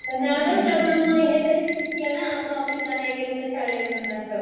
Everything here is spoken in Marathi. पण अगं कोरोनामुळे हे तर शिकलं ना आपण ऑफिसला नाही गेलं तरी चालेल म्हणून असं.